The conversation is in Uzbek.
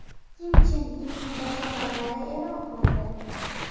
Kim Chen Inning bashoratlari e’lon qilindi.